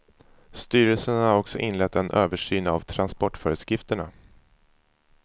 Styrelsen har också inlett en översyn av transportföreskrifterna.